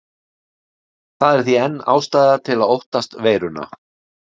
Það er því enn ástæða til að óttast veiruna.